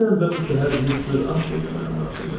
Dünən və bu səhər Mister Astley də mənə maraqlı idi.